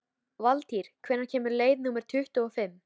Valtýr, hvenær kemur leið númer tuttugu og fimm?